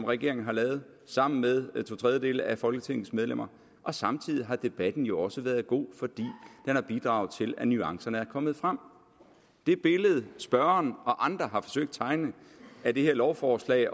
regeringen har lavet sammen med to tredjedele af folketingets medlemmer og samtidig har debatten jo også været god fordi den har bidraget til at nuancerne er kommet frem det billede spørgeren og andre har forsøgt at tegne af det her lovforslag